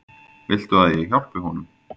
Viltu að ég hjálpi honum?